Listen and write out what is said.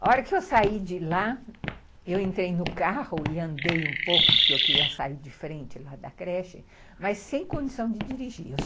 A hora que eu saí de lá, eu entrei no carro e andei um pouco, porque eu queria sair de frente lá da creche, mas sem condição de dirigir.